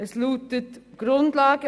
Es lautet folgendermassen: